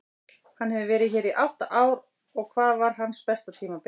Hann hefur verið hér í átta ár og hvað var hans besta tímabil?